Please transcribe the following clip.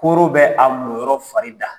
Koro bɛ a moyɔrɔ fari da.